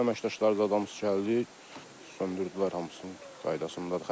Fövqəladə əməkdaşlarımız gəldi, söndürdülər hamısını qaydasındadır.